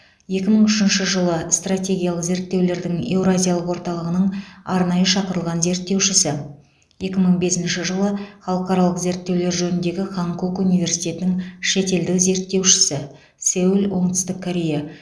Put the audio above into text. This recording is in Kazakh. екі мың үшінші жылы стратегиялық зерттеулердің еуразиялық орталығының арнайы шақырылған зерттеушісі екі мың бесінші жылы халықаралық зерттеулер жөніндегі ханкук университетінің шетелдік зерттеушісі сеул оңтүстік корея